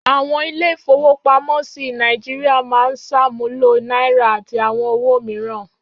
Àwọn ilé-ìfowópamọ́sí Nàìjíríà máa ń ṣàmúlò náírà àti àwọn owó òmíràn.